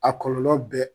A kɔlɔlɔ bɛɛ